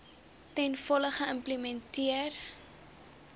ten volle geïmplementeer